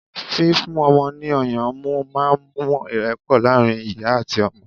fífún ọmọ ni ọyàn mu ma ń mú ìrepo laarin ìyá ati ọmọ